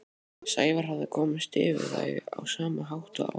Sævar hafði komist yfir þau á sama hátt og áður.